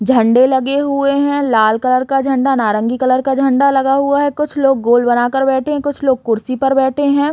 झंडे लगे हुए है लाल कलर का झंडा नारंगी कलर का झंडा लगा हुआ हैं कुछ लोग गोल बना के बैठे है कुछ लोग कुर्सी पर बैठे हैं।